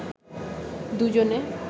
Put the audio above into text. দুজনে